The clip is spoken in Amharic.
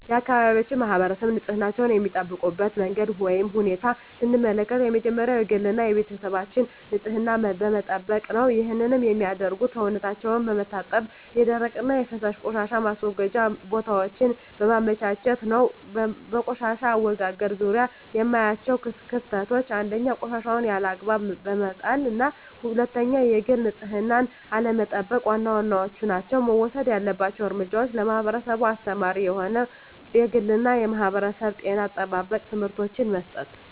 የአካባቢያችን ማህበረሰብ ንፅህናቸዉን የሚጠብቁበት መንገድ ወይም ሁኔታን ስንመለከት የመጀመሪያዉ የግል እና የቤተሰባቸዉን ንፅህና በመጠበቅ ነዉ ይህንንም የሚያደርጉት ሰዉነታቸዉን በመታጠብ የደረቅና የፈሳሽ ቆሻሻ ማስወገጃ ቦታወችን በማመቻቸት ነዉ። በቆሻሻ አወጋገድ ዙሪያ የማያቸዉ ክፍተቶች፦ 1. ቆሻሻወችን ያለ አግባብ በመጣልና 2. የግል ንፅህናን አለመጠቅ ዋና ዋናወቹ ናቸዉ። መወሰድ ያለበት እርምጃ ለህብረተሰቡ አስተማሪ የሆኑ የግልና የማህበረሰብ የጤና አጠባበቅ ትምህርቶችን መስጠት።